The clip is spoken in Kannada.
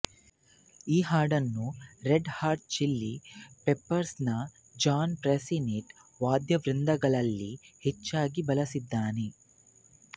ಈ ಹಾಡನ್ನು ರೆಡ್ ಹಾಟ್ ಚಿಲಿ ಪೆಪರ್ಸ್ ನ ಜಾನ್ ಫ್ರುಸಿನೆಟ್ ವಾದ್ಯವೃಂದಗಳಲ್ಲಿ ಹೆಚ್ಚಾಗಿ ಬಳಸಿದ್ದಾನೆ